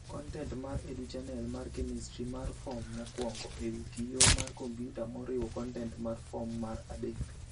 Kontent mar Educhannel mar Chemistry mar Fom mokwongo ewi kiyoo mar computer moriwo kontent mar Form Mar adek.